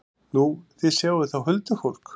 Nú, þið sjáið þá huldufólk?